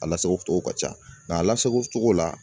A lasagocogo ka ca nka a lasagocogo la